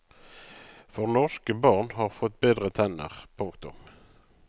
For norske barn har fått bedre tenner. punktum